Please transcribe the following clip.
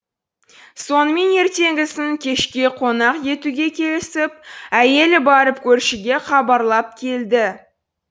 сонымен ертеңгісін кешке қонақ етуге келісіп әйелі барып көршіге хабарлап келді